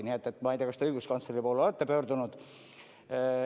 Nii et ma ei tea, kas te õiguskantsleri poole olete pöördunud.